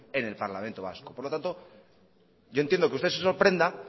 en el parlamento vasco por lo tanto yo entiendo que usted se sorprenda